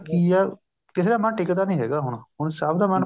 ਕੀ ਆ ਕਿਸੇ ਦਾ ਮੰਨ ਟਿੱਕਦਾ ਨਹੀਂ ਹੈਗਾ ਹੁਣ ਸਭ ਦਾ